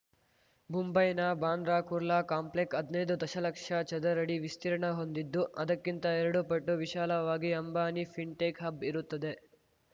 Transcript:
ಮುಂಬೈನ ಬಾಂದ್ರಾ ಕುರ್ಲಾ ಕಾಂಪ್ಲೆಕ್ ಹದ್ನೈದು ದಶಲಕ್ಷ ಚದರಡಿ ವಿಸ್ತೀರ್ಣ ಹೊಂದಿದ್ದು ಅದಕ್ಕಿಂತ ಎರಡು ಪಟ್ಟು ವಿಶಾಲವಾಗಿ ಅಂಬಾನಿ ಫಿನ್‌ಟೆಕ್‌ ಹಬ್‌ ಇರುತ್ತದೆ